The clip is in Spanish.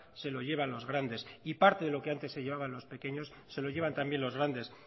se lo llevan los grandes y parte de lo que antes se llevaban los pequeños se lo llevan también los grandes